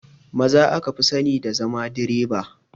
Maza aka fi sani da zama direba